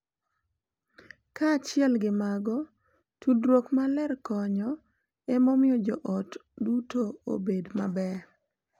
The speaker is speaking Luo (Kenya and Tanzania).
Kaachiel gi mago, tudruok maler konyo e miyo jo ot duto obed maber,